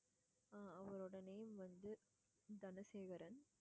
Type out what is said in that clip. ஆஹ் அவங்களோட name வந்து தனசேகரன்.